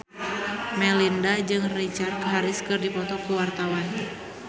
Melinda jeung Richard Harris keur dipoto ku wartawan